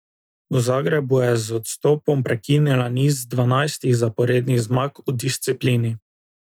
V Zagrebu je z odstopom prekinila niz dvanajstih zaporednih zmag v disciplini.